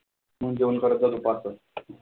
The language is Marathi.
मंग जेवण करायचं दुपारचं.